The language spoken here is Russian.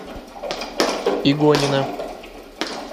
игонина